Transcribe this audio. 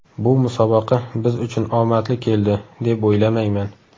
Bu musobaqa biz uchun omadli keldi, deb o‘ylamayman.